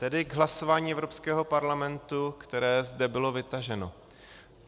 Tedy k hlasování Evropského parlamentu, které zde bylo vytaženo.